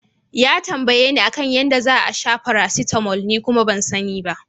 Ya tambayeni a kan yadda za'a sha paracetamol ni kuma ban sani ba.